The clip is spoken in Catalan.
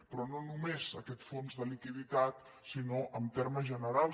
però no només aquest fons de liquiditat sinó en ter·mes generals